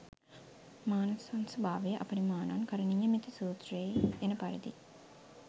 මානසංභාවයේ අපරිමාණං කරණීයමෙත්ත සූත්‍රයෙහි එන පරිදි